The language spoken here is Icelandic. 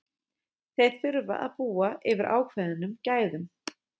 Þeir þurfa að búa yfir ákveðnum gæðum.